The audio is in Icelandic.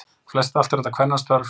Flest allt eru þetta kvennastörf